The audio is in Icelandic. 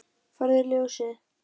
Farðu í Ljósið!